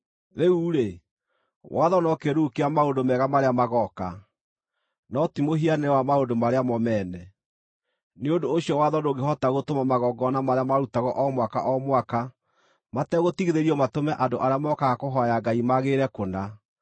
Rĩu-rĩ, watho no kĩĩruru kĩa maũndũ mega marĩa magooka, no ti mũhianĩre wa maũndũ marĩa mo mene. Nĩ ũndũ ũcio watho ndũngĩhota gũtũma magongona marĩa marutagwo o mwaka o mwaka mategũtigithĩrio matũme andũ arĩa mookaga kũhooya Ngai magĩrĩre kũna.